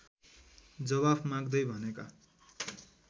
जवाफ माग्दै भनेका